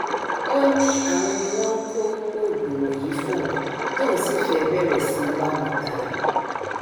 ó ní àwọn ni wọn ń kó oògùn wọnyí fóun tóun sì fẹẹ bẹrẹ sí í bá wọn ta á